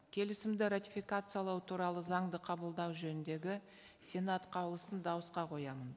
келісімді ратификациялау туралы заңды қабылдау жөніндегі сенат қаулысын дауысқа қоямын